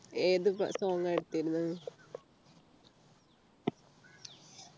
ഏത് song ഇട്ടിരുന്നത്